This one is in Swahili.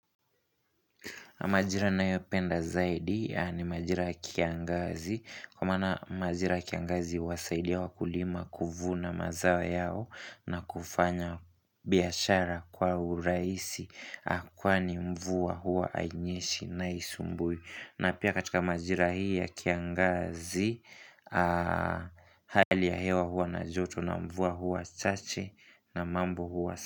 Majira ninayo penda zaidi yaani majira kiangazi, kwa maana majira kiangazi huwasaidia wakulima kuvuna mazao yao na kufanya biashara kwa uraisi a kwani mvua hua hainyeshi na haisumbui. Na pia katika majira hii ya kiangazi, hali ya hewa hua na joto na mvua hua chache na mambo hua.